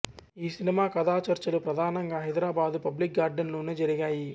ఈ సినిమా కథాచర్చలు ప్రధానంగా హైదరాబాదు పబ్లిక్ గార్డెన్లోనే జరిగాయి